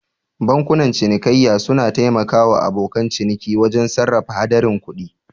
Bankunan cinikayya suna taimaka wa abokan ciniki wajen sarrafa haɗarin kuɗi.